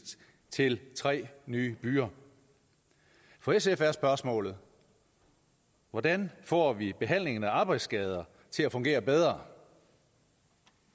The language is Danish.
til tre nye byer for sf er spørgsmålet hvordan får vi behandlingen af arbejdsskadesager til at fungere bedre